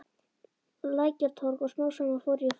Lækjartorg og smám saman fór ég að fá pantanir.